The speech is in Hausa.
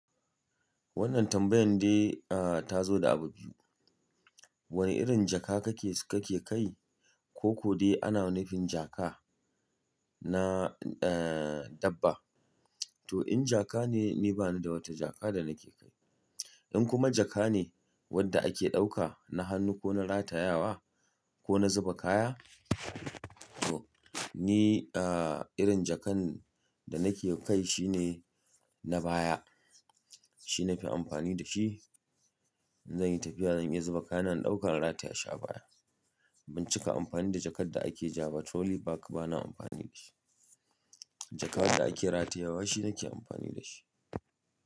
Wannan tambayan dai, ah, ta zo da abu biyu. Wane irin jaka kake, kake kai? Ko ko dai ana nufin jaka na, eh, dabba? To in jaka ne, ni bani da wata jaka da nake kai. In kuma jaka ne wanda ake ɗauka na hannu ko na ratayawa ko na zuba kaya? To ni, ah, irin jakan da nake kai shine na baya. Shine na fi amfani da shi in zanyi tafiya zan iya zuba kayana in ɗauka in rataya shi a baya. Ban cika amfani da jakar da ake ja ba, trolley bag bana amfani da shi. Jaka da ake ratayawa shi nake amfani da shi.